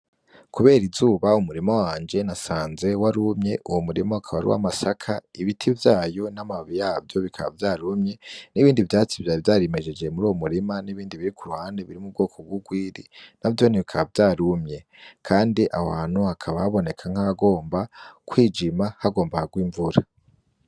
Kubera izuba umurima wanje nasanze warumye uwo murima ukaba ar'uw'amasaka ibiti vyayo n'amababi yavyo bikaba vyarumye n'ibindi vyatsi vyayo vyari vyarimejeje muri uwo murima n'ibindi biri ku ruhande biri m’ubwoko bw'urwiri na vyone bikaba vyarumye, kandi aho hantu hakaba haboneka nk'agomba kwijima hagomba harwe imvura.